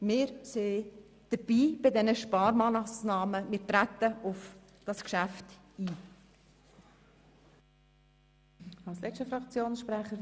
Wir sind bei diesen Sparmassnahmen dabei und treten auf das Geschäft ein.